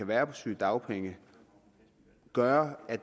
være på sygedagpenge gøre at